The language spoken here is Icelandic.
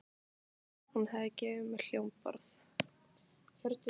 já, hún hafði gefið mér hljómborð.